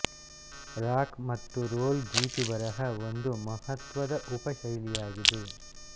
rock ಮತ್ತು roll ಗೀಚುಬರಹ ಒಂದು ಮಹತ್ವದ ಉಪ ಶೈಲಿಯಾಗಿದೆ